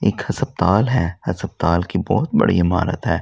एक हस्पताल है हस्पताल की बहोत बड़ी इमारत है।